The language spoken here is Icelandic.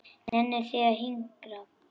Nennið þið að hinkra?